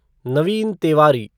Naveen Tiwari